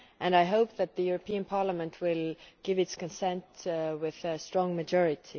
I hope that the European Parliament will give its consent with a large majority.